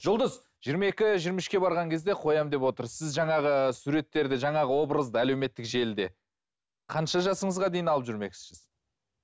жұлдыз жиырма екі жиырма үшке барған кезде қоямын деп отыр сіз жаңағы суреттерді жаңағы образды әлеуметтік желіде қанша жасыңызға дейін алып жүрмекшісіз